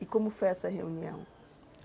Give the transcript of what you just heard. E como foi essa reunião?